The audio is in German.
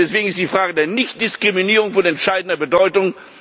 kann. Deswegen ist die Frage der Nichtdiskriminierung von entscheidender Bedeutung.